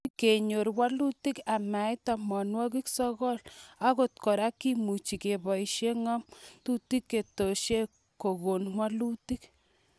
Ui kenyor walutik amait tamanwokik sokol, angot kora kemuchi keboisie ng'amutikab kaitosiek kokon walutik.